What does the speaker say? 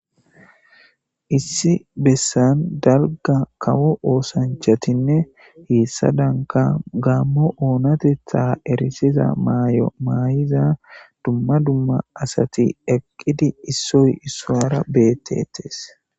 issi bessan dalga kawo oosanchatinne heessa danka gaammo oonatetha erisiza maay7o maay7iza dumma dumma asati eqqidi issoy issuara betetees